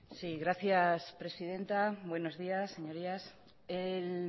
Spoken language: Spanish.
sí gracias presidenta buenos días señorías el